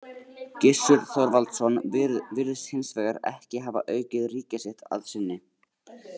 Gissur Þorvaldsson virðist hins vegar ekki hafa aukið ríki sitt að sinni.